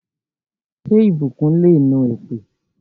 Ṣé ìbùkún le nu èpè?